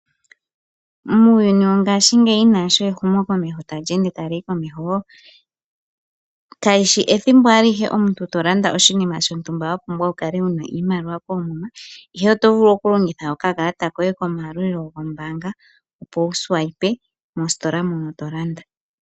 Muuyuni wo ngaashingeyi naashi ehumo tali ende taliyi komeho kalishi ethimbo alihe omuntu tolanda oshinima shontumba wapumbwa wukale wuna iimaliwa koomuma, ihe oto vulu okulongitha okakalata koye kombaanga opo wukalandithe mositola ndjono tolanda.